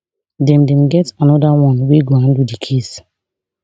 dem dem get anoda one wey go handle di case